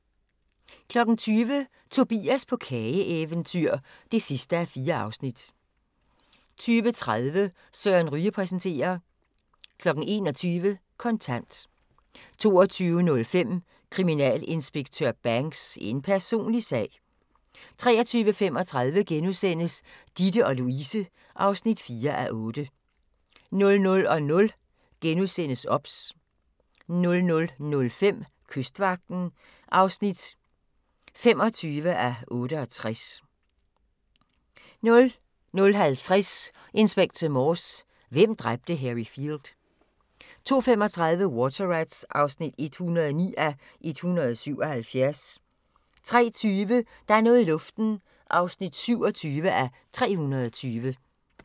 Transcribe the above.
20:00: Tobias på kageeventyr (4:4) 20:30: Søren Ryge præsenterer 21:00: Kontant 22:05: Kriminalinspektør Banks: En personlig sag 23:35: Ditte & Louise (4:8)* 00:00: OBS * 00:05: Kystvagten (25:68) 00:50: Inspector Morse: Hvem dræbte Harry Field? 02:35: Water Rats (109:177) 03:20: Der er noget i luften (27:320)